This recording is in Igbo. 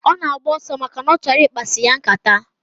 Ona agba oso, maka na ochoro ikpasi ya nkata.